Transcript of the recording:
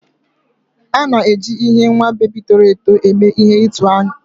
A na-eji ihe nwa bebi toro eto eme ihe atụ uwe.